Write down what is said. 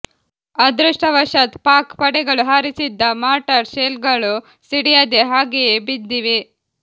ಅದೃಷ್ಟವಶಾತ್ ಪಾಕ್ ಪಡೆಗಳು ಹಾರಿಸಿದ್ದ ಮಾರ್ಟರ್ ಶೆಲ್ಗಳು ಸಿಡಿಯದೇ ಹಾಗೆಯೇ ಬಿದ್ದಿವೆ